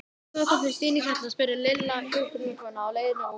Hvað kom fyrir Stínu á Hjalla? spurði Lilla hjúkrunarkonuna á leiðinni út.